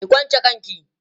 ki kwanche kanki!